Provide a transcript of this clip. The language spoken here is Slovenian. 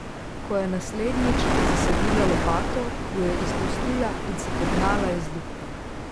Ko je naslednjič zasadila lopato, jo je izpustila in se pognala iz luknje.